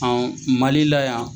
An Mali la yan